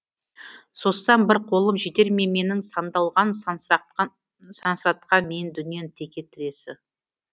созсам бір қолым жетер ме менің сандалған сансыратқан миын дүниенің теке тіресі